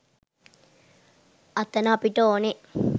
අතන අපට ඕන